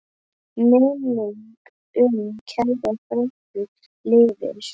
Minning um kæra frænku lifir.